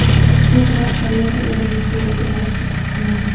Shu sabab Koreyada o‘zimni suvdagi baliqdek his qilardim.